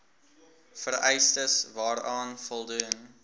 vereistes waaraan voldoen